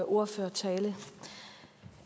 ordførertalen